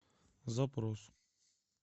запрос